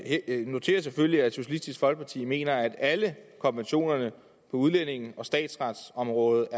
noterer selvfølgelig at socialistisk folkeparti mener at alle konventionerne på udlændinge og statsretsområdet